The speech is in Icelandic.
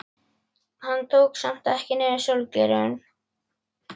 Hann tók samt ekki niður sólgleraugun.